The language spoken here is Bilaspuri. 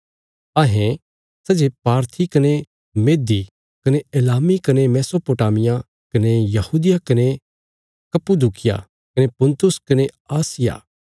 अहें सै जे पारथी कने मेदी कने एलामी कने मेसोपोटामिया कने यहूदिया कने कप्पदूकिया कने पुन्तुस कने आसिया